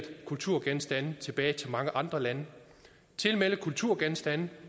kulturgenstande tilbage til mange andre lande tilmed kulturgenstande